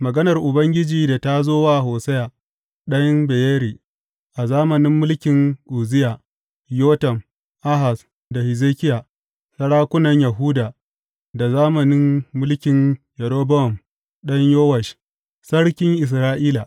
Maganar Ubangiji da ta zo wa Hosiya ɗan Beyeri a zamanin mulkin Uzziya, Yotam, Ahaz da Hezekiya, sarakunan Yahuda, da zamanin mulkin Yerobowam ɗan Yowash sarkin Isra’ila.